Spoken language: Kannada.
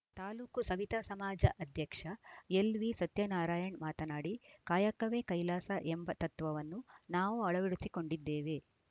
ತಾಲೂಕು ಸವಿತಾ ಸಮಾಜ ಅಧ್ಯಕ್ಷ ಎಲ್‌ವಿ ಸತ್ಯನಾರಾಯಣ್‌ ಮಾತನಾಡಿ ಕಾಯಕವೇ ಕೈಲಾಸ ಎಂಬ ತತ್ವವನ್ನು ನಾವು ಅಳವಡಿಸಿಕೊಂಡಿದ್ದೇವೆ